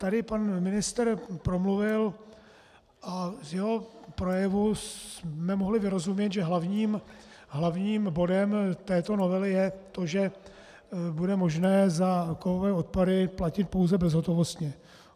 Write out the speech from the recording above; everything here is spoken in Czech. Tady pan ministr promluvil a z jeho projevu jsme mohli vyrozumět, že hlavním bodem této novely je to, že bude možné za kovové odpady platit pouze bezhotovostně.